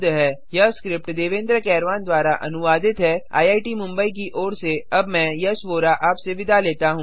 001025 001024 यह स्क्रिप्ट देवेन्द्र कैरवान द्वारा अनुवादित है आईआईटी मुंबई की ओर से अब मैंआपसे विदा लेता हूँ